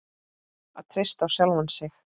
Að treysta á sjálfan sig.